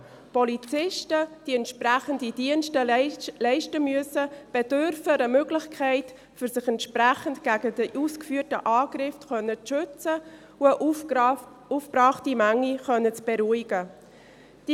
Polizisten, welche die entsprechenden Dienste leisten müssen, bedürfen einer Möglichkeit, um sich entsprechend gegen die ausgeführten Angriffe zu schützen und eine aufgebrachte Menge beruhigen zu können.